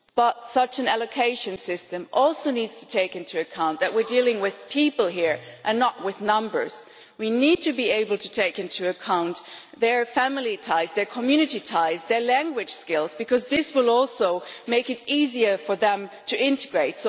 However, such an allocation system also needs to take into account the fact that we are dealing with people and not with numbers. We need to be able to take into account their family ties, their community ties and their language skills, because this will also make it easier for them to integrate.